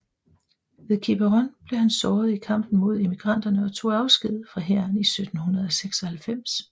Ved Quiberon blev han såret i kampen mod emigranterne og tog afsked fra hæren 1796